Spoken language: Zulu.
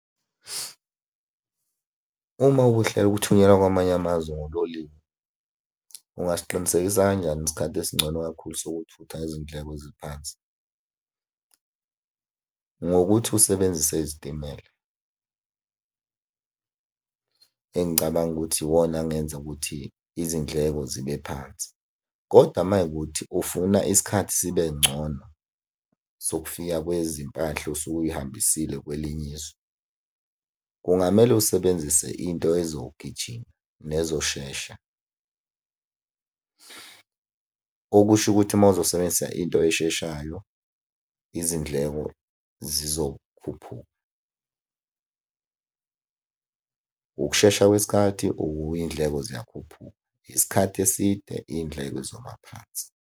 Uma uhlela ukuthunyelwa kwamanye amazwe ngololiwe, ungasiqinisekisa kanjani isikhathi esingcono kakhulu sokuthutha izindleko eziphansi? Ngokuthi usebenzise izitimela, engicabanga ukuthi iwona angenza ukuthi izindleko zibe phansi, koda uma kuwukuthi ufuna isikhathi sibe ngcono sokufika kwezimpahla osuke uy'hambisile kwelinye izwe, kungamele usebenzise into ezogijima nezoshesha. Okusho ukuthi uma uzosebenzisa into esheshayo, izindleko zizokhuphuka. Ukushesha kwesikhathi iy'ndleko ziyakhuphuka, isikhathi eside, iy'ndleko zoma phansi.